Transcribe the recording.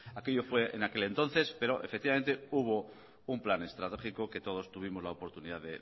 aquello fue en aquel entonces pero efectivamente hubo un plan estratégico que todos tuvimos la oportunidad